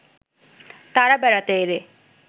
তারা বেড়াতে এরে